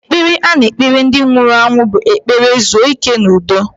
Ekpere a na-ekpere ndị nwụrụ anwụ bụ ekpere zuo ike n'udo.